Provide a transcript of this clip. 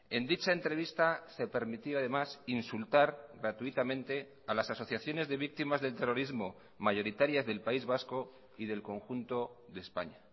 en dicha entrevista se permitió además insultar gratuitamente a las asociaciones de víctimas del terrorismo mayoritarias del país vasco y del conjunto de españa